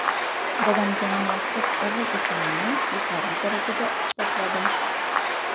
Dadamga munosib o‘g‘il ekanimni yetarli darajada isbotladim.